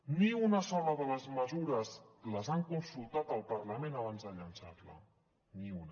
ni una sola de les mesures les han consultat al parlament abans de llançar la ni una